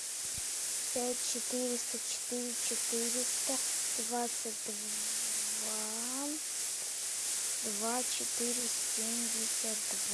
пять четыреста четыре четыреста двадцать два два четыре семьдесят два